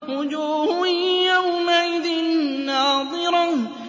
وُجُوهٌ يَوْمَئِذٍ نَّاضِرَةٌ